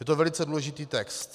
Je to velice důležitý text: